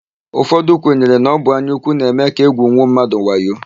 Ụfọdụ kwenyere na ọ bụ anyaúkwú na-eme ka égwùnwuo mmadụ wayo.